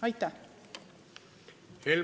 Aitäh!